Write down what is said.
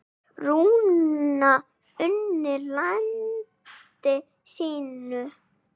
Rúna unni landi sínu.